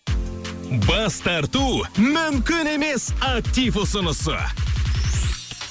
бас тарту мүмкін емес актив ұсынысы